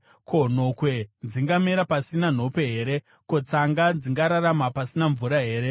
Ko, nhokwe dzingamera pasina nhope here? Ko, tsanga dzingararama pasina mvura here?